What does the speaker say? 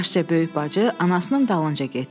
Yaşca böyük bacı anasının dalınca getdi.